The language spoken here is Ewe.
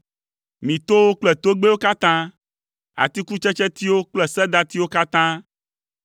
mi towo kple togbɛwo katã, atikutsetsetiwo kple sedatiwo katã,